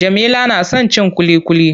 Jamila na son cin ƙuliƙuli.